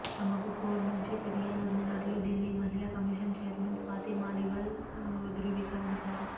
తమకు కౌర్ నుంచి ఫిర్యాదు అందినట్లు ఢిల్లీ మహిళా కమిషన్ ఛైర్మన్ స్వాతి మాలీవాల్ ధృవీకరించారు